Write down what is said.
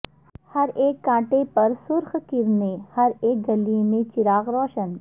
ہر ایک کانٹے پہ سرخ کرنیں ہر اک کلی میں چراغ روشن